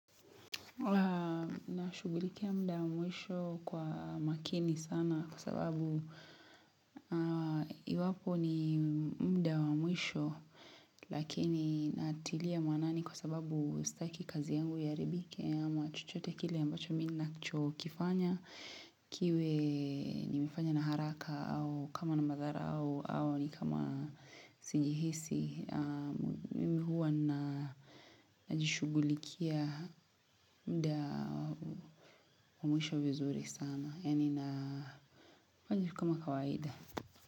Nashughulikia muda wa mwisho kwa makini sana kwa sababu iwapo ni mda wa mwisho lakini natilia maanani kwa sababu staki kazi yangu iharibike ama chochote kile ambacho mimi nachokifanya kiwe nimefanya na haraka au kama na madhara au au ni kama sijihisi. Mimi huwa na najishughulikia mda mwisho vizuri sana yaani na kama kawaida.